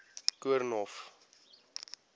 koornhof